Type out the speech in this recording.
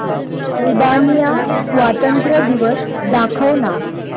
Albania स्वातंत्र्य दिवस दाखव ना